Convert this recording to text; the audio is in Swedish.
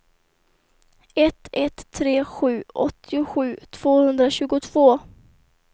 ett ett tre sju åttiosju tvåhundratjugotvå